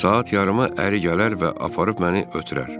Saat yarıma əri gələr və aparıb məni ötürər.